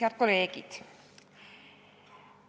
Head kolleegid!